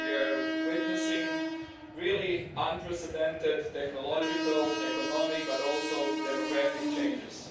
We are witnessing truly unprecedented technological and economic, but also demographic, changes.